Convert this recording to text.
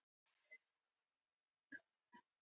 Eyfríður, hvað heitir þú fullu nafni?